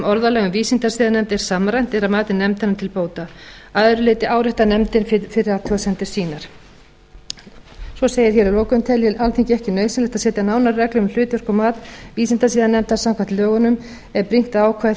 um vísindasiðanefnd er samræmt er að mati nefndarinnar til bóta að öðru leyti áréttar nefndin fyrri athugasemdir sínar svo segir hér að lokum telji alþingi ekki nauðsynlegt að setja nánari reglur um hlutverk og mat vísindasiðanefndar samkvæmt lögunum er brýnt að ákvæði þar